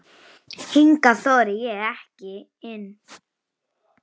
Hingað þori ég ekki inn.